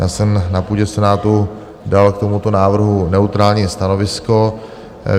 Já jsem na půdě senátu dal k tomuto návrhu neutrální stanovisko.